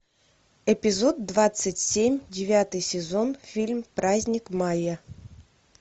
эпизод двадцать семь девятый сезон фильм праздник мая